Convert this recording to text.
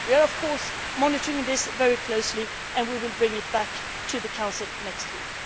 not exist. We are, of course, monitoring this very closely and we will bring it back to the Council